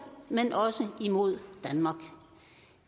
men også imod danmark